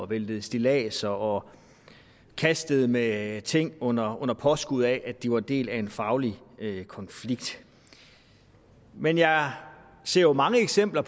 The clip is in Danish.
væltede stilladser og kastede med ting under under påskud af at de var del af en faglig konflikt men jeg ser jo mange eksempler